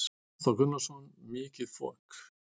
Hafþór Gunnarsson: Mikið fok?